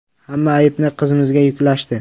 “Hamma aybni qizimizga yuklashdi.